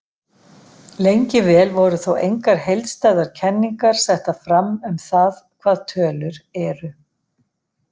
Lengi vel voru þó engar heildstæðar kenningar settar fram um það hvað tölur eru.